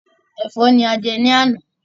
Ẹ̀fọ́ ni a jẹ ní àná.